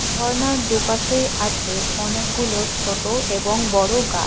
ঝর্নার দুপাশে আছে অনেকগুলো ছোট এবং বড় গাছ।